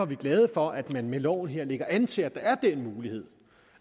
vi glade for at man med loven her lægger an til at der er den mulighed